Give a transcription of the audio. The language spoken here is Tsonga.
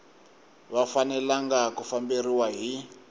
va fanelanga ku famberiwa hi